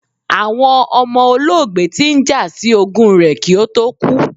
Awọn ọmọ olóògbé ti n ja si ogún rẹ̀ ki ó tó kú